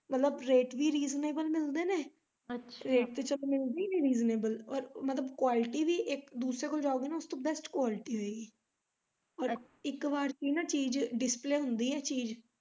ਮਤਲਬ ਰੇਟ ਵੀ reasonable ਮਿਲਦੇ ਨੇ ਰੇਟ ਤਾਂ ਚੱਲ ਮਿਲਦੇ ਹੀ ਨੇ reasonable ਪਰ ਮਤਲਬ quality ਵੀ ਇੱਕ ਦੂਸਰੇ ਤੋਂ ਜਾਉਗੇ ਨਾ ਉਸ ਤੋਂ best quality ਹੋਏਗੀ ਇੱਕ ਵਾਰ ਦੀ ਚੀਜ display ਹੁੰਦੀ ਐ ਚੀਜ।